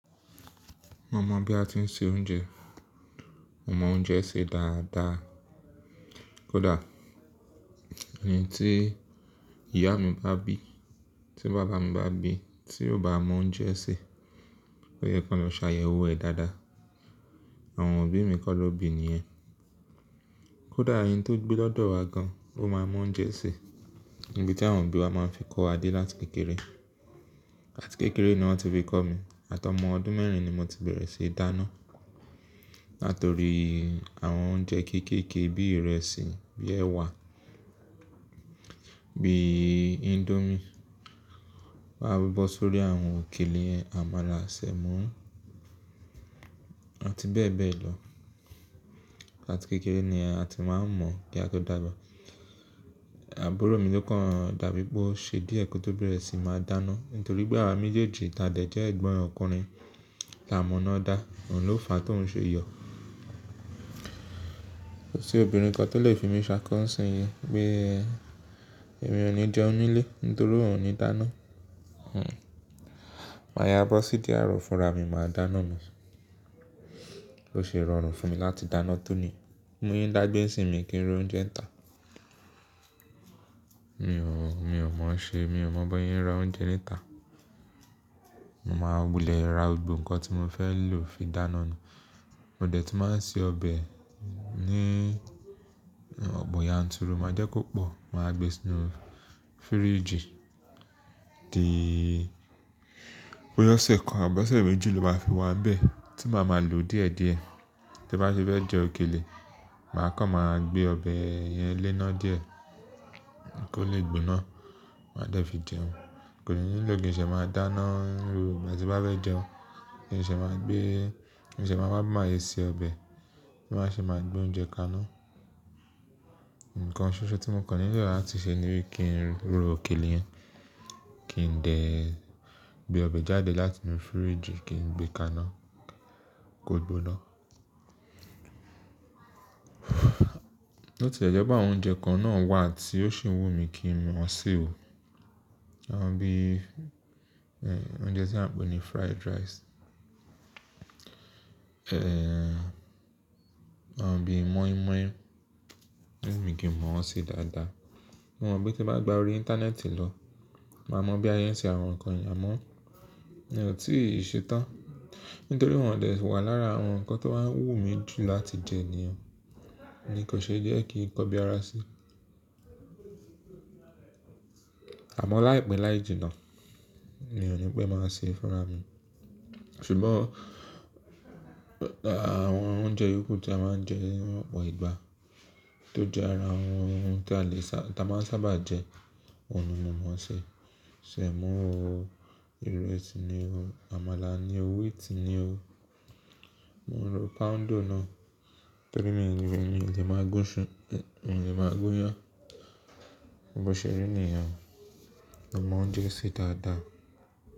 Mo mọ̀ bí a ti ń se oúnjẹ, mo mọ oúnjẹ sè dáadáa. Kódà ẹni tí ìyá mi bá bí, tí bàbá mi bá bí, tí ó bá mọ oúnjẹ sè, ó yẹ kó lọ sààyè owó ẹ dáadáa. Àwọn òbí mi kọ́ ló bí i ni ẹ́. Kódà ẹni tó gbé lọ́dọ̀ wa gan, ó máa mọ oúnjẹ sè. Ibi tí àwọn òbí wa máa ń fi kọ́ wa dé láti kékeré. Látìkékeré ni wọ́n ti fi kọ́ mi, àtọmọ ọdún mẹ́rin ni mo ti bẹ̀rẹ̀ sí i dáná. Nítorí àwọn oúnjẹ kéékèèké bí ìrẹsì, bí ẹwà, bí índómì, máa bíbọ́ sórí àwọn òkèlè àmàlà, sẹ̀mọ́ àti bẹ́ẹ̀ bẹ́ẹ̀ lọ. Látìkékeré ni a ti máa ń mọ̀ kí a tó dàgbà. Àbúrò mi ló kàn dàbí bó ṣe díẹ̀ kí ó tó bẹ̀rẹ̀ sí máa dáná. Nítorí pé àwa méjèèjì tàdé jẹ́ ẹ̀gbọ́n ọkùnrin táa mọ̀ná dá, òun ló fàá tó ń ṣe yọ̀. Kò sí obìnrin kan tó lè fi mí ṣákọ́ ń ṣẹ́ yẹn pé èmi ò ní jẹun nílé nítorí òun ò ní dáná. Hhm. Màá yá bó sí díẹ̀ àárọ̀ fúnra mi máa dáná mi. Ó ṣe rọrùn fún mi láti dáná tún ni, múyín dá gbé ń sìn mi kí n ro oúnjẹ ń tà. Mi ò, mi ò mọ̀ ọ́n ṣe, mi ò mọ̀ bóyín ra oúnjẹ níta. Mo máa wulẹ̀ ra òògùn nǹkan tí mo fẹ́ lò fi dáná mi. Mo dẹ̀ ti máa ń ṣe ọbẹ̀ ní ọ̀po yan turu máa jẹ́ kó pọ̀, màá gbe sínú fíríjì. Díì, bó yá ọ̀sẹ̀ kan àbí ọ̀sẹ̀ méjì ló máa fi wá n bẹ́ẹ̀ tí màá ma lò díẹ̀díẹ̀. Te bá tife jẹ òkèlè, màá kàn máa gbé ọbẹ̀ yẹn léná díẹ̀ kó lè gbóná, màá dẹ̀ fi jẹun. Kò ní nílò kí n ṣe máa dáná ní gbogbo ìgbà tin bá fẹ́ jẹun. Kí n ṣe máa gbé, kí n ṣe máa wá máa yé se ọbẹ̀, kí n má ṣe máa gbé oúnjẹ ka iná. Ǹkan ṣoṣo tí mo kà nílò láti ṣe ni wípé kí n rọ òkèlè yẹn, kí n dè gbé ọbẹ̀ jáde láti inú fíríjì kí n gbé ka iná kó gbóná. Ó ti jẹ́ pé àwọn oúnjẹ kan náà wà tí ó sì wù mí kí n mọ̀ ọ́n ṣe o. Bí, ehn oúnjẹ tí wọ́n ń pè ní fried rice. Ehn, àbí mọ́ínmọ́ín, owu mi kin mọ̀ ṣe dáadáa. Mo mọ̀ pé tí màá gba orí ìntanẹ́ẹ̀tì lọ, màá mọ̀ bí asé ń ṣe àwọn nǹkan nye. Mi ò tíì ṣe tán. Nítorí wọ́n ò dẹ̀ ti wà lára àwọn nǹkan tó wá ń wù mí jù láti jẹ ni o, ni kò ṣe díẹ̀ kí n kọ́ bí ara sí. Àmọ́ láìpẹ́ láì jìnnà ni ọ̀ ní pé màá ṣe fúnra mi. Ṣùgbọ́n, àwọn oúnjẹ yòkù tí a máa ń jẹ nínú ọ̀pọ̀ ìgbà tó jẹ́ ara àwọn ohun tí a lè sá-- tí a máa ń sábà jẹ, òun ni mo mọ̀ ṣe. Sẹ̀mọ́, ìrẹsì ni o, àmàlà ni o, wheat ni o. Mo ń ro poundo náà torí mi ò lè máa gún ṣú-- mi ò lè máa gún un. Bó ṣẹ rí nìyẹn o. A mọ oúnjẹ sè dáadáa.